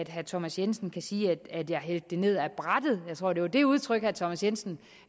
herre thomas jensen kan sige at jeg har hældt det ned ad brættet jeg tror det var det udtryk herre thomas jensen